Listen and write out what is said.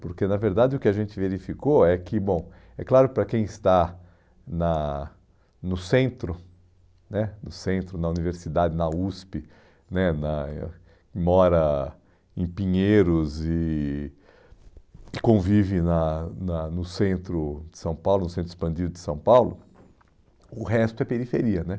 Porque, na verdade, o que a gente verificou é que, bom, é claro, para quem está na no centro né, no centro, na universidade, na USP, né na mora em Pinheiros e e convive na na no centro de São Paulo, no centro expandido de São Paulo, o resto é periferia né